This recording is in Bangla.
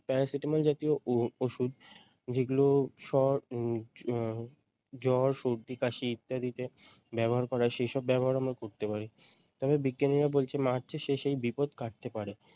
Paracetamol জাতীয় উহ ঔষুধ যেগুলো উম আহ জ্বর, সর্দি, কাশি ইত্যাদিতে ব্যবহার করে সেই সব ব্যবহার আমরা করতে পারি। তবে বিজ্ঞানীরা বলছেন মার্চের শেষেই বিপদ কাটতে পারে।